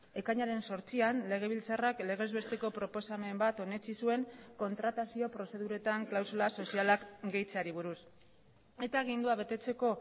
ekainaren zortzian legebiltzarrak legez besteko proposamen bat onetsi zuen kontratazio prozeduretan klausula sozialak gehitzeari buruz eta agindua betetzeko